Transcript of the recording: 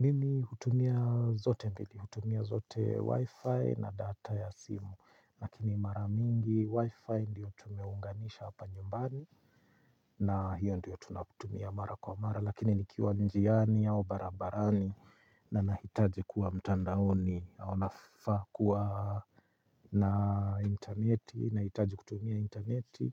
Mimi hutumia zote mbili, hutumia zote wifi na data ya simu, lakini mara mingi wifi ndiyo tumeunganisha hapa nyumbani na hiyo ndiyo tunakutumia mara kwa mara, lakini nikiwa njiani au barabarani na nahitaji kuwa mtandaoni au nafaa kuwa na interneti, nahitaji kutumia interneti,